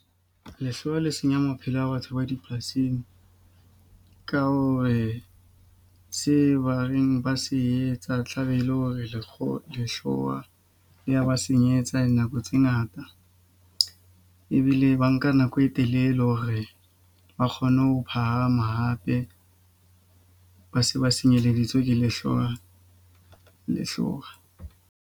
Lehlwa le senya maphelo a batho ba dipolasing. Ka hore se ba reng ba se etsa tlabe ele hore lekgo lehlowa le ya ba senyetsa dinako tseo ngata. Ebile ba nka nako e telele hore ba kgone ho phahama hape ba se ba nsenyeleditse ke lehloa lehlowa.